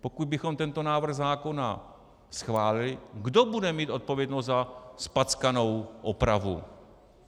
Pokud bychom tento návrh zákona schválili, kdo bude mít odpovědnost za zpackanou opravu?